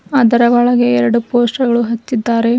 ಅದರ ಒಳಗೆ ಎರಡು ಪೋಸ್ಟರ್ ಗಳು ಹಚ್ಚಿದ್ದಾರೆ.